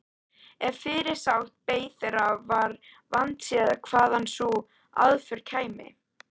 Ef fyrirsát beið þeirra var vandséð hvaðan sú aðför kæmi.